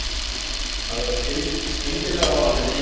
Að vera skyndilega orðin ein.